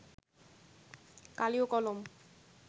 কালি ও কলম